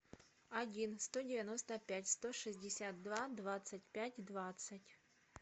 один сто девяносто пять сто шестьдесят два двадцать пять двадцать